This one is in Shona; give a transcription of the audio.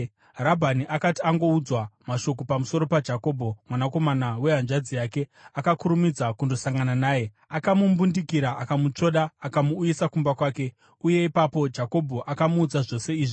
Rabhani akati angoudzwa mashoko pamusoro paJakobho, mwanakomana wehanzvadzi yake, akakurumidza kundosangana naye. Akamumbundikira, akamutsvoda akamuuyisa kumba kwake, uye ipapo Jakobho akamuudza zvose izvi.